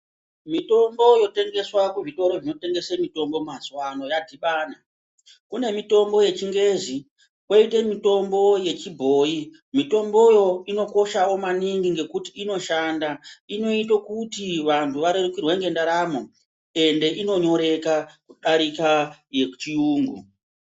Mitombo yotengeswa kuzvitoro zvinotengese mitombo mazuvano yadhibana. Kune mitombo yechingezi, koite mitombo yechibhoi, mitomboyo inokoshawo maningi ngekuti inoshanda. Inoite kuti vantu varerukirwe ngendaramo ende inonyoreka kudarika yechiyungu.